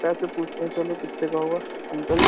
पैसे पूछते है चलो। कित्ते का हुआ अंकल --